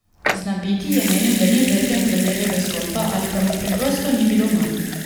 Znabiti je menil, da ni vreden kraljevega stolpa, ali pa mu preprosto ni bilo mar.